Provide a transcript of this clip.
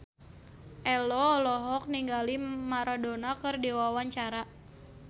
Ello olohok ningali Maradona keur diwawancara